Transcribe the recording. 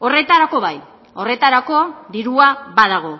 horretarako bai horretarako dirua badago